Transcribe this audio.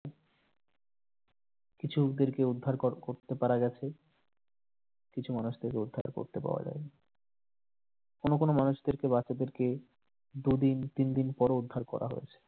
কিছু লোকদেরকে উদ্ধার কর করতে পারা গেছে কিছু মানুষদের উদ্ধার করতে পাওয়া যায়নি কোনো কোনো মানুষদেরকে বাচ্চাদেরকে দুদিন তিনদিন পরও উদ্ধার করা হয়েছে।